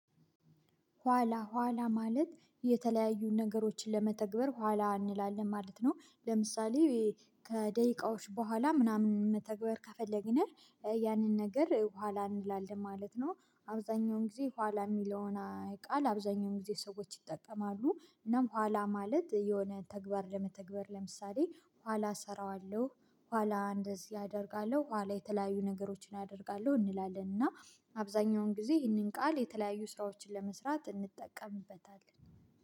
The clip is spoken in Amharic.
ኋላ ኋላ ማለት የተለያዩ ነገሮችን ለመተግበር ኋላ አንላለን ማለት ነው። ለምሳሌ ከደቂቃዎች በኋላ ምናምን መተግበር ከፈለግንህ ያንን ነገር በኋላ እንላለን ማለት ነው። አብዛኛውን ጊዜ ኋላ የሚለውን ቃል አብዛኛውን ጊዜ ሰዎች ይጠቀማሉ። እናም ኋላ ማለት የሆነ ተግባር ለመተግበር ለምሳሌ ኋላ እሰራዋለሁ። ኋላ እንደዚህ አደርጋለሁ ኋላ የተለያዩ ነገሮችን ያደርጋለሁ እንላለን። እና አብዛኛውን ጊዜ ይህንን ቃል የተለያዩ ስራዎችን ለመስራት እንጠቀምበታለን